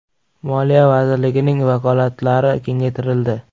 Moliya vazirligining vakolatlari kengaytirildi.